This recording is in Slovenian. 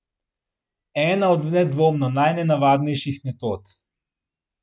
Ena od nedvomno najnenavadnejših metod.